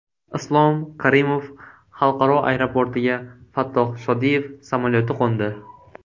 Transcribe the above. Islom Karimov xalqaro aeroportiga Fattoh Shodiyev samolyoti qo‘ndi.